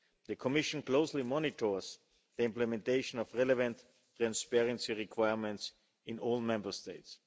The Commission closely monitors the implementation of relevant transparency requirements in all Member States.